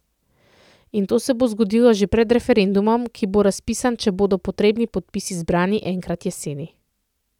In to se bo zgodilo že pred referendumom, ki bo razpisan, če bodo potrebni podpisi zbrani, enkrat jeseni.